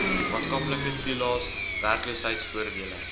maatskaplike toelaes werkloosheidvoordele